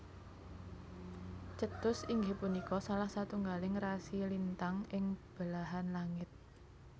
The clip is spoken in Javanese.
Cetus inggih punika salah satunggaling rasi lintang ing belahan langit